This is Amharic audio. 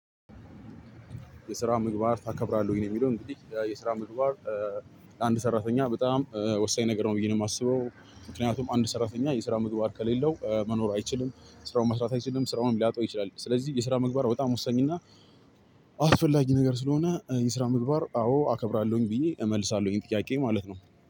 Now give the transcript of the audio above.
የስራ ምግባር ታከብራለህ ወይ ነው? የሚለው እንግዲህ የስራ ምግባር አንድ ሰራተኛ በጣም ወሳኝ ነገር ነው ብዬ ነው የማስበው። ምክንያቱም አንድ ሰራተኛ የስራ ምግባር ከሌለው መኖር አይችልም ስራውን መስራት አይችልም ስራውንም ሊያጣው ይችላል። ስለዚህ የስራ ምግባር በጣም ወሳኝና አስፈላጊ ነገር ስለሆነ የስራ ምግባር አዎ አከብራለሁኝ ብዬ እመልሳለሁኝ። ይሄን ጥያቄ ማለት ነው።